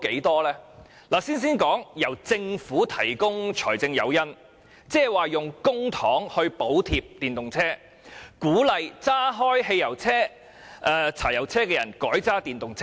讓我先談政府提供的財政誘因，使用公帑補貼電動車車主，鼓勵駕駛汽油車或柴油車的人改用電動車。